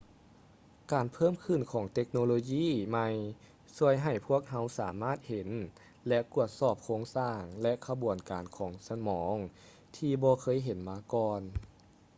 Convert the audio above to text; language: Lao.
ການເພີ່ມຂຶ້ນຂອງເຕັກໂນໂລຢີໃໝ່ຊ່ວຍໃຫ້ພວກເຮົາສາມາດເຫັນ ແລະ ກວດສອບໂຄງສ້າງ ແລະ ຂະບວນການຂອງສະໝອງທີ່ບໍ່ເຄີຍເຫັນມາກ່ອນ